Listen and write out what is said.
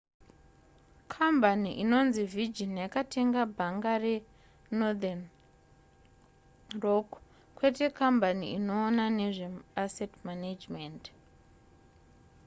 kambani inonzi virgin yakatenga bhanga renorthen rock kwete kambani inoona nezveasset management